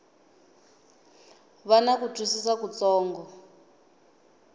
va na ku twisisa kutsongo